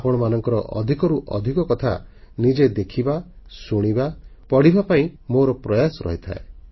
ଅଧିକରୁ ଅଧିକ ଆପଣମାନଙ୍କର କଥାକୁ ନିଜେ ଦେଖିବା ଶୁଣିବା ପଢ଼ିବା ପାଇଁ ମୋର ପ୍ରୟାସ ରହିଥାଏ